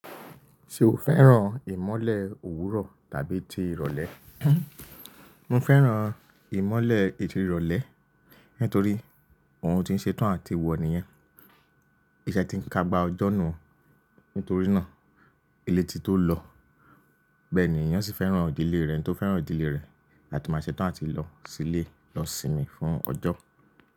Ṣé o fẹ́ràn ìmọ́lẹ̀ òwúrọ̀ tàbí ti ìrọ̀lẹ́? Mo fẹ́ràn ìmọ́lẹ̀ ìdí ìrọ̀lẹ́, nítorí ohun tó ń ṣe tán àti ìwọ̀ níyẹn. Ìṣẹ́ ti ń ka gba ọjọ́ nù, nítorí náà ilé ti tó lọ. Bẹ́ẹ̀ ni, ìyàn sí fẹ́ràn ìdílé rẹ̀ tó fẹ́ràn òdílé rẹ̀. Láti má ṣe tán àti lọ sílé, lọ sinmi fún ọjọ́.